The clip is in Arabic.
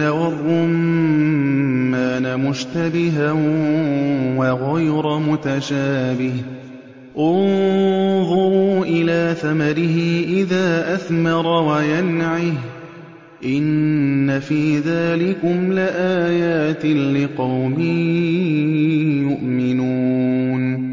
وَالرُّمَّانَ مُشْتَبِهًا وَغَيْرَ مُتَشَابِهٍ ۗ انظُرُوا إِلَىٰ ثَمَرِهِ إِذَا أَثْمَرَ وَيَنْعِهِ ۚ إِنَّ فِي ذَٰلِكُمْ لَآيَاتٍ لِّقَوْمٍ يُؤْمِنُونَ